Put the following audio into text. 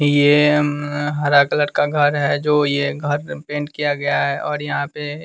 ये हम्म हरा कलर का घर है जो यह घर पेंट किया गया है और यहाँ पे --